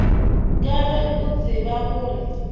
ka ge o tseba gore